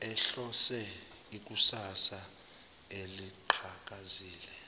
ehlonze ikusasa eliqhakazile